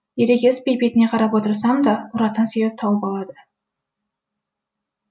ерегеспей бетіне қарап отырсам да ұратын себеп тауып алады